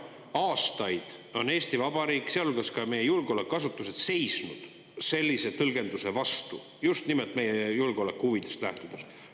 Aastaid on Eesti Vabariik, sealhulgas ka meie julgeolekuasutused, seisnud sellise tõlgenduse vastu just nimelt meie julgeolekuhuvidest lähtuvalt.